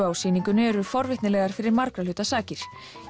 á sýningunni eru forvitnilegar fyrir margra hluta sakir